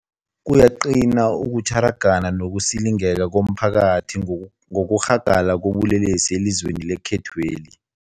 Kuyaqina ukutjhara, gana nokusilingeka komphakathi ngokurhagala kobulelesi elizweni lekhethweli.